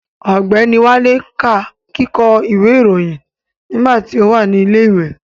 Ọ̀gbẹ́ni Wálé ká kíkọ́ ìròyìn nígbà tí ó wà ní ilẹ̀ ìwé